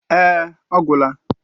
Èé, ọ gwụla.